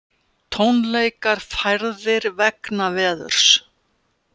Tónleikar færðir vegna veðurs